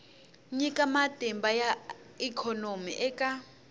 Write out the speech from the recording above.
nyika matimba ya ikhonomi eka